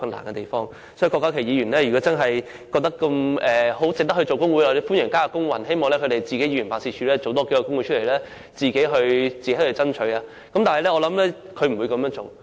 如果郭家麒議員真的認為值得組織工會，我很歡迎他參與勞工運動，希望他的議員辦事處也可以成立工會爭取權益。